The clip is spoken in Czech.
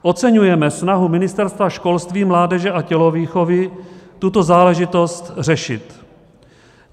Oceňujeme snahu Ministerstva školství, mládeže a tělovýchovy tuto záležitost řešit.